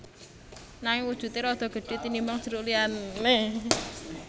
Nanging wujudé rada gedhé tinimbang jeruk liyané